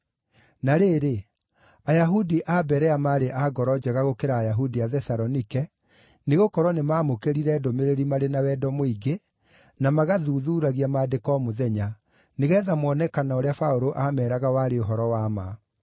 Na rĩrĩ, Ayahudi a Berea maarĩ a ngoro njega gũkĩra Ayahudi a Thesalonike, nĩgũkorwo nĩmamũkĩrire ndũmĩrĩri marĩ na wendo mũingĩ, na magathuthuuragia Maandĩko o mũthenya, nĩgeetha moone kana ũrĩa Paũlũ aameeraga warĩ ũhoro wa ma.